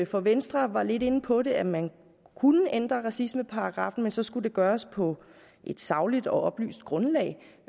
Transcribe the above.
for venstre var lidt inde på det at man kunne ændre racismeparagraffen men så skulle det gøres på et sagligt og oplyst grundlag